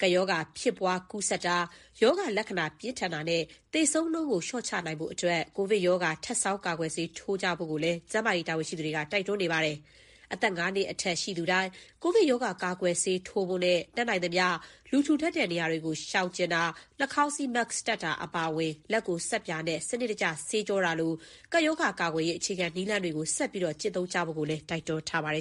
" ကပ်ရောဂါဖြစ်ပွား ကူးစက်တာ၊ ရောဂါလက္ခဏာ ပြင်းထန်တာနဲ့ သေဆုံးနှုန်းကို လျှော့ချနိုင်ဖို့အတွက် ကိုဗစ်ရောဂါ ထပ်ဆောင်းကာကွယ်ဆေး ထိုးနှံဖို့ကိုလည်း ကျန်းမာရေးတာဝန်ရှိသူတွေက တိုက်တွန်းနေပါတယ်။ အသက် ၅နှစ်အထက် ရှိသူတိုင်း ကိုဗစ်ရောဂါ ကာကွယ်ဆေးထိုးနှံဖို့နဲ့ တတ်နိုင်သမျှ လူထူထပ်တဲ့နေရာတွေကို ရှောင်ကြဉ်တာ၊ နှာခေါင်းစည်း Mask တပ်ဖို့ အပါအဝင် လက်ကို ဆပ်ပြာနဲ့ စနစ်တကျဆေးကြောတာ ဒီလို ကပ်ရောဂါကာကွယ်ရေး အခြေခံနည်းလမ်းတွေကို ဆက်ပြီးကျင့်သုံးဖို့ကိုလည်း တိုက်တွန်းထားပါတယ်